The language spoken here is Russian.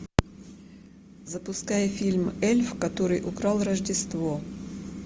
запускай фильм эльф который украл рождество